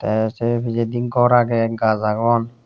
tey sei pichedi gor agey gach agon.